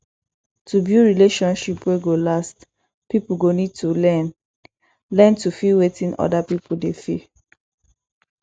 to build relationship wey go last pipo go need to learn learn to feel wetin oda pipo dey feel